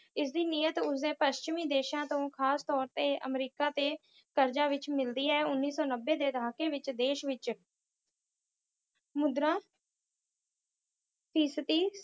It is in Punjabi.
ਇਸਦੇ ਨਮਿਤ ਉਸਨੂੰ ਪੱਛਮੀ ਦੇਸ਼ਾਂ ਤੋਂ, ਖਾਸ ਤੌਰ 'ਤੇ ਅਮਰੀਕਾ 'ਤੇ ਮਿਲਦੀ ਹੈ। ਉਨੀ ਸੌ ਨੱਬੇ ਦੇ ਦਹਾਕੇ ਵਿੱਚ ਦੇਸ਼ ਵਿੱਚ ਮੁਦਰਾ ਫੀਸਤੀ